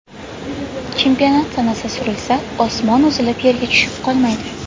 Chempionat sanasi surilsa, osmon uzilib, yerga tushib qolmaydi.